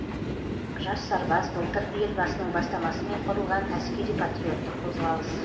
жас сарбаз былтыр елбасының бастамасымен құрылған әскери патриоттық қозғалыс